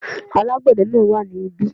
Alágbède náà wà ní bí